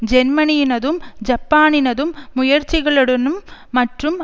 ஜேர்மனியினதும் ஜப்பானினதும் முயற்சிகளுடனும் மற்றும்